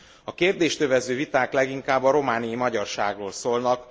A kérdést övező viták leginkább a romániai magyarságról szólnak.